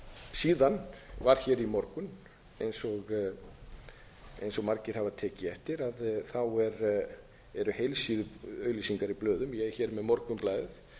síðan var hér í morgun eins og margir hafa tekið eftir eru heilsíðuauglýsingar í blöðum ég er hér með morgunblaðið